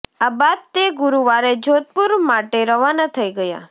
આ બાદ તે ગુરુવારે જોધપુર માટે રવાના થઈ ગયા